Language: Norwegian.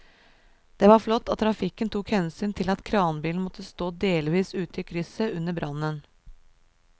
Det var flott at trafikken tok hensyn til at kranbilen måtte stå delvis ute i krysset under brannen.